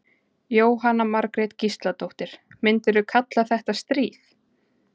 Jóhanna Margrét Gísladóttir: Myndirðu kalla þetta stríð?